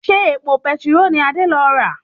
Ṣé epo petiró ni Adé lọ rà?